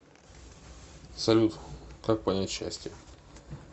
салют как понять счастье